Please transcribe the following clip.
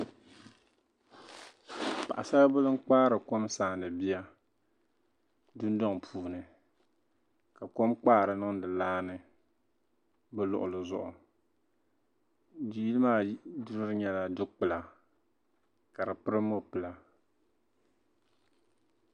paɣisaribila n-kpaari n-sariti bia dundɔŋ puuni ka kom kpaari niŋdi laa ni bɛ luɣili zuɣu yili maa duri nyɛla dukpula ka di pili mɔpila